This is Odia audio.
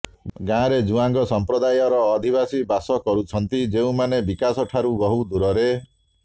ଗାଁରେ ଜୁଆଙ୍ଗ ସଂପ୍ରଦାୟର ଅଧିବାସୀ ବାସ କରୁଛନ୍ତି ଯେଉଁମାନେ ବିକାଶ ଠାରୁ ବହୁଦୂରରେ